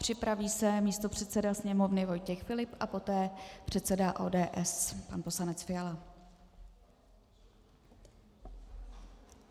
Připraví se místopředseda Sněmovny Vojtěch Filip a poté předseda ODS pan poslanec Fiala.